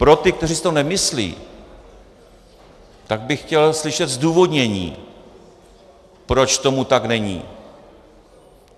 Pro ty, kteří si to nemyslí, tak bych chtěl slyšet zdůvodnění, proč tomu tak není.